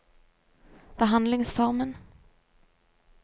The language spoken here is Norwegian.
behandlingsformen